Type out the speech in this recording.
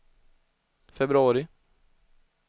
februari